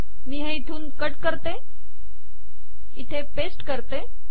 मी हे इथे पेस्ट करते